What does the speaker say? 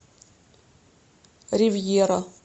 ривьера